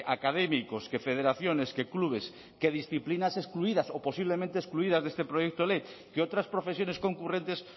académicos que federaciones que clubes que disciplinas excluidas o posiblemente excluidas de este proyecto ley que otras profesiones concurrentes